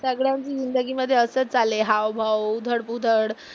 सगळ्या जिंदगी मध्ये असंच आले हावभाव, उतल पुतल